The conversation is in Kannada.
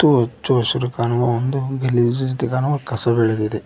ಇವು ಹಚ್ಚ ಹಸಿರು ಕಾಣುವ ಒಂದು ಗಲೀಜು ಕಸ ಬೆಳೆದಿದೆ.